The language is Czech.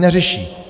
Neřeší!